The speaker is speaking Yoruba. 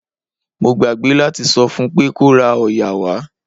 Mo gbàgbé láti sọ fún pé kó ra òòyà wá.